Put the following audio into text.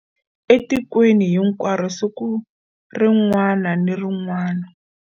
Etikweni hinkwaro siku rin'wana ni rin'wana.